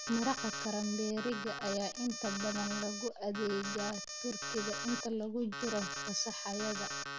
Maraqa karamberriga ayaa inta badan lagu adeegaa turkiga inta lagu jiro fasaxyada.